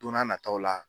Don n'a nataw la